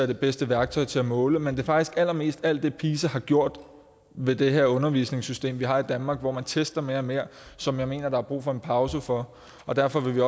det bedste værktøj til at måle men det er faktisk allermest alt det pisa har gjort ved det her undervisningssystem vi har i danmark hvor man tester mere og mere som jeg mener der er brug for en pause fra og derfor vil